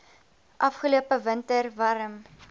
afgelope winter warm